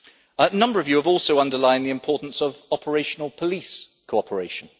A number of you have also underlined the importance of operational police cooperation.